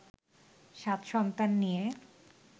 সাত সন্তান নিয়ে